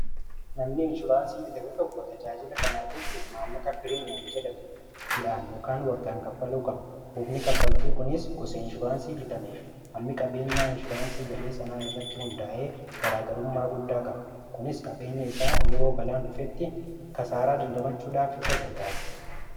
namni inshuraansii bitamee tokko tajaajila kana ardochuuf maalna kapirimyem jedhamu ji'aan lokaan waggaan kaffaluu kaba hupni kaffaltii kunis gose inshuraansii bitamee fi hammi qabeenyaa inshuraansii galee sanaa irratti hundaa’ee garaagarummaa guddaa kaba kunis qabeenya isaa yeroo balaan dhufetti kasaaraa dandamachuudhaaf isa gargaare